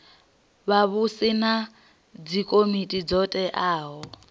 vhavhusi na dzikomiti dzo teaho